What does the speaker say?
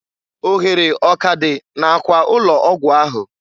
Ohere ọ k'adị na- akwa ụlọ ọgwụ ahụ?